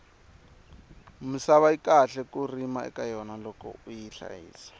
misava yi kahle ku rima eka yona loko uyi hlayisa